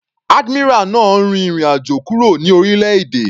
Admiral náà rin ìrìn àjò kúrò ní orílẹ̀-èdè.